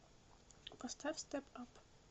поставь стэп ап